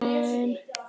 Guðrún Hafdís.